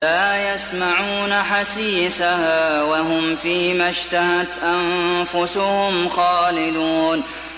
لَا يَسْمَعُونَ حَسِيسَهَا ۖ وَهُمْ فِي مَا اشْتَهَتْ أَنفُسُهُمْ خَالِدُونَ